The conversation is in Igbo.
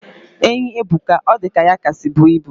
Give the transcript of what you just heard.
Enyi ebuka. Odika ya kasi bu ibu